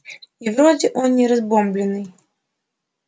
и вроде он не разбомблённый